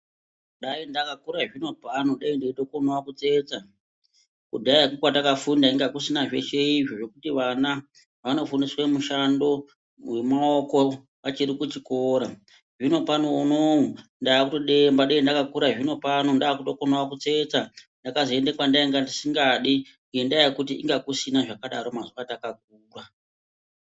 Dai ndakakura zvinopano daindaitokonawo kutsetsa ,kudhaya kwatakafunda kwanga kusina zveshe izvi zvekuti vana vanofundiswe mushando wemaoko vachiri kuchikora zvinopano unou ndaakutodemba dai ndandakura zvinopano ndaakutokonawo kutsetsa ndakazoende kwandanga ndisingadi ngendaa yekuti inga kusina zvakadaro mazuwa atakakura.